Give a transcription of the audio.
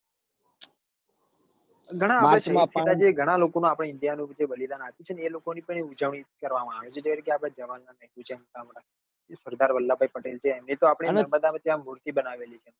ઘણાં march માં આપડે ઓળખીતા જે લોકો નાં જે india નું બલિદાન આપ્યું છે ને એ લોકો ની ઉજવણી કરવા માં આવે છે જે રીતે એ રીતે જવાન જેમ કે સરદાર વલ્લભ ભાઈ પટેલ એમની તો આપડે નર્મદા વચે મૂર્તિ બનાવેલી છે અને